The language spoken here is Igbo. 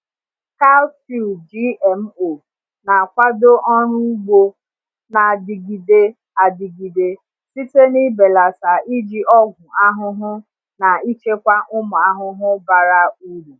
Cowpea GMO na-akwado ọrụ ugbo na-adịgide adịgide site n’ibelata iji ọgwụ ahụhụ na ichekwa ụmụ ahụhụ bara uru.